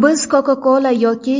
Biz Coca-Cola yoki